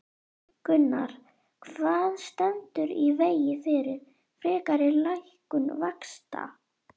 Gunnar: Hvað stendur í vegi fyrir frekari lækkun vaxta?